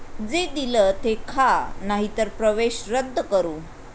जे दिलं ते खा नाही तर प्रवेश रद्द करू'